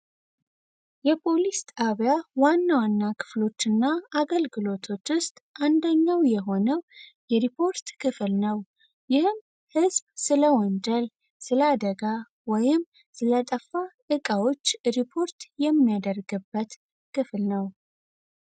የፖሊስ ጣቢያ ዋና ዋና ክፍሎችና አገልግሎቶች አንደኛው የሆነው የሪፖርት ክፍል ነው። ይህም ህዝብ ስለ ወንጀል፣ ስላደጋ፣ ወይም ስለጠፋ እቃዎች ሪፖርት የሚያደርግበት ክፍል ነው።